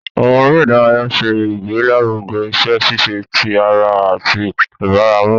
Àwọn eré ìdárayá ṣe ìgbélaruge iṣẹ ṣiṣe tí ará àti ìbaràmú.